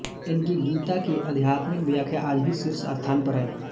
इनकी गीता की आध्यात्मिक व्याख्या आज भी शीर्ष स्थान पर है